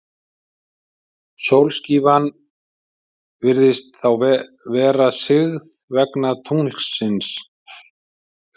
Sólskífan virðist þá vera sigð vegna tunglsins.